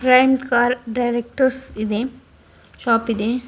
Prime car directors ಇದೆ shop ಇದೆ.